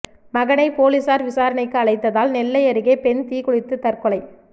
மகனை போலீஸாா் விசாரணைக்கு அழைத்ததால் நெல்லை அருகே பெண் தீக்குளித்து தற்கொலை